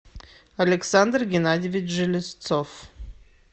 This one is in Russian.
александр геннадьевич железцов